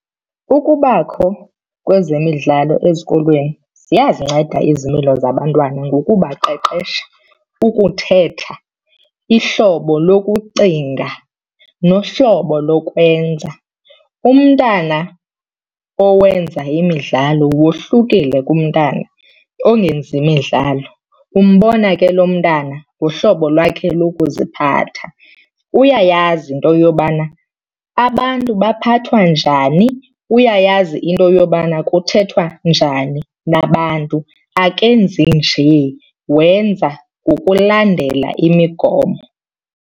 Ukubakho kwezemidlalo ezikolweni ziyazinceda izimilo zabantwana ngokubaqeqesha, ukuthetha, ihlobo lokucinga nohlobo lokwenza. Umntana owenza imidlalo wohlukile kumntana ongenzi midlalo, umbona ke lo mntana ngohlobo lwakhe lokuziphatha. Uyayazi into yobana abantu baphathwa njani, uyayazi into yobana kuthethwa njani nabantu. Akenzi nje wenza ngokulandela imigomo.